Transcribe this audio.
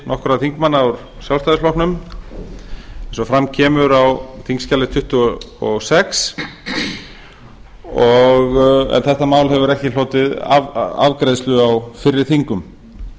nokkurra þingmanna úr sjálfstæðisflokknum eins og fram kemur á þingskjali tuttugu og sex en þetta mál hefur ekki hlotið afgreiðslu á fyrri þingum